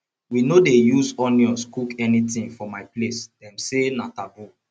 we no dey use onions cook anything for my place dem say na taboo